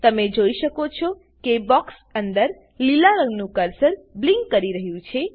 તમે જોઈ શકો છો કે બોક્ક્ષ અંદર લીલા રંગનું કર્સર બ્લીંક કરી રહ્યું છે